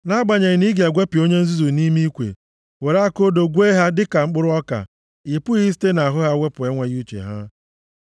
Nʼagbanyeghị na ị ga-egwepịa onye nzuzu nʼime ikwe, were aka odo gwee ha dịka mkpụrụ ọka, ị pụghị isite nʼahụ ha wepụ enweghị uche ha.